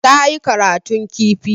Ta yi karatun kifi.